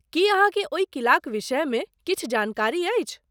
की अहाँके ओहि किलाक विषयमे किछु जानकारी अछि?